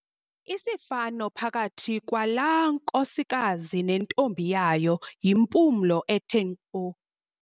Isifano phakathi kwalaa nkosikazi nentombi yayo yimpumlo ethe nkqo.